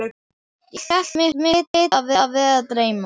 Ég hélt mig hlyti að vera að dreyma.